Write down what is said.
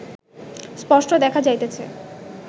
স্পষ্ট দেখা যাইতেছে